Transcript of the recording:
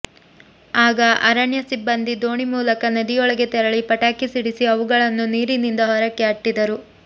ಆಗ ಅರಣ್ಯ ಸಿಬ್ಬಂದಿ ದೋಣಿ ಮೂಲಕ ನದಿಯೊಳಗೆ ತೆರಳಿ ಪಟಾಕಿ ಸಿಡಿಸಿ ಅವುಗಳನ್ನು ನೀರಿನಿಂದ ಹೊರಕ್ಕೆ ಅಟ್ಟಿದರು